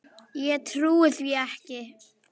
Ég trúi því ekki.